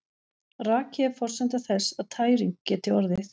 Raki er forsenda þess að tæring geti orðið.